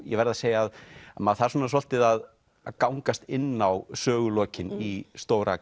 ég verð að segja að maður þarf svolítið að að gangast inn á sögulokin í stóra